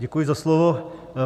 Děkuji za slovo.